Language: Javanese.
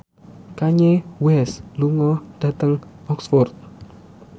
Kanye West lunga dhateng Oxford